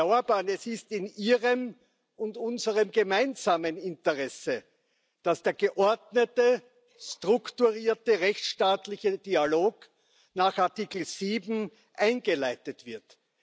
Herr Orbán, es ist in Ihrem und unserem gemeinsamen Interesse, dass der geordnete, strukturierte, rechtstaatliche Dialog nach Artikel 7 eingeleitet wird.